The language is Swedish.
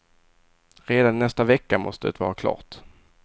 Redan i nästa vecka måste det vara klart.